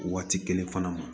Waati kelen fana ma